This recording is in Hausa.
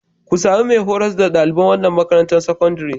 Ku sami mai horas da ɗaliban wannan makarantar sakandaren.